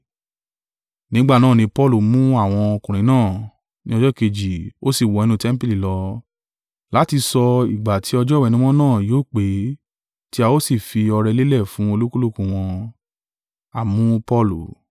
Nígbà náà ni Paulu mú àwọn ọkùnrin náà; ní ọjọ́ kejì ó ṣe ìwẹ̀nùmọ́ pẹ̀lú wọn, ó sì wọ inú tẹmpili lọ, láti sọ ìgbà tí ọjọ́ ìwẹ̀nùmọ́ náà yóò pé tí a ó sì fi ọrẹ lélẹ̀ fún olúkúlùkù wọn.